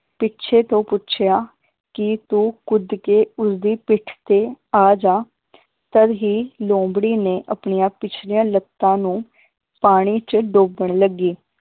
ਪਿਛੇ ਤੋਂ ਪੁੱਛਿਆ ਕਿ ਤੂੰ ਕੁੱਦ ਕੇ ਉਸਦੀ ਪਿੱਠ ਤੇ ਆਜਾ ਤਦ ਹੀ ਲੋਮੜੀ ਨੇ ਆਪਣੀਆਂ ਪਿਛਲੀਆਂ ਲੱਤਾਂ ਨੂੰ ਪਾਣੀ ਚ ਡੋਬਣ ਲੱਗੀ